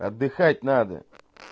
отдыхать надо